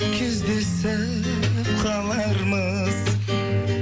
кездесіп қалармыз